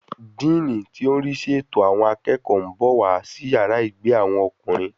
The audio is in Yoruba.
Díìnì tí ò ń rísí ètò àwọn akẹ́kọ̀ọ́ ń bọ̀ wá sí yàrá ìgbé àwọn ọkùnrin